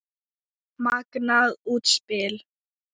Magnað útspil.